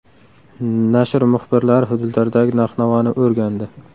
Nashr muxbirlari hududlardagi narx-navoni o‘rgandi.